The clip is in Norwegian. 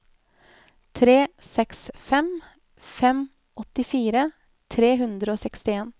tre seks fem fem åttifire tre hundre og sekstien